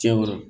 Tiɲɛ wɛrɛ